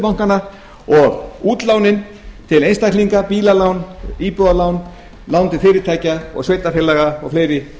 bankanna og útlánin til einstaklinga bílalán íbúðalán lán til fyrirtækja og sveitarfélaga og fleiri